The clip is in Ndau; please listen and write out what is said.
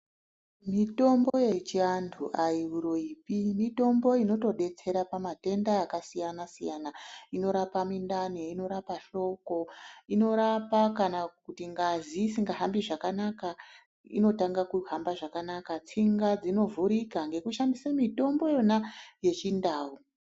Mitombo yechiantu ayimuroyipi, mitombo imotodetsera pamatenda akasiyana siyana. Inorapa mindani, inorapa hloko, inorapa kana kuti ngazi isingahambi zvakanaka inotanga kuhamba zvakanaka tsinga zvinovhurika ngekushandisa mitombo yona yechindau.